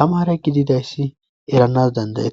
tamara gididayssi eranas dandaye.